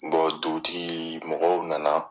dugutigi mɔgɔw nana